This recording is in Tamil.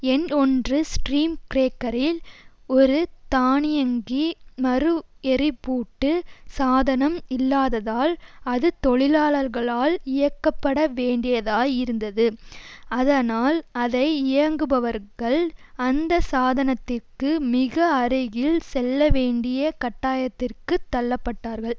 எண் ஒன்று ஸ்ட்ரீம் கிரேக்கரில் ஒரு தானியங்கி மறுஎரிப்பூட்டு சாதனம் இல்லாததால் அது தொழிலாளர்களால் இயக்கப்பட வேண்டியதாய் இருந்தது அதனால் அதை இயங்குபவர்கள் அந்த சாதனத்திற்கு மிக அருகில் செல்ல வேண்டிய கட்டாயத்திற்குத் தள்ளப்பட்டார்கள்